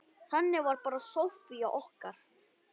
Þannig var bara Soffía okkar.